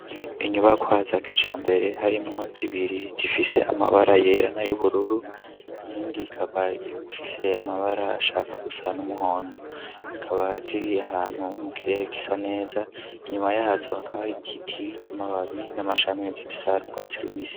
Inyubakwa za kijambere harimo zibiri zifise amabara yerana y'ubururu yindi kaba ifise amabara ashaka gusa n'umuhondo kaba ziri ahantu mu kirere kisa neza inyuma yazo hakaba hari kititamababi n'amashami bisanu bwa tsi rubisi.